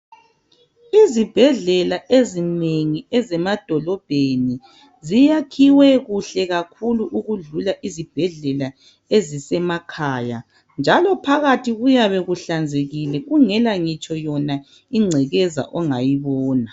Izibhedlela ezinengi zemadolobheni ziyakhiwe kuhle kakhulu ukudlula izibhedlela ezisemakhaya njalo phakathi kuyabe kuhlanzekile kungela ngitsho yona ingcekeza ongayibona